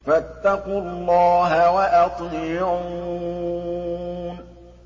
فَاتَّقُوا اللَّهَ وَأَطِيعُونِ